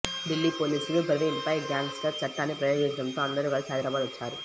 ఢిల్లీ పోలీసులు ప్రవీణ్పై గ్యాంగ్స్టర్ చట్టాన్ని ప్రయోగించడంతో అందరూ కలిసి హైదరాబాద్ వచ్చారు